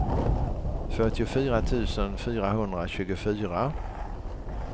fyrtiofyra tusen fyrahundratjugofyra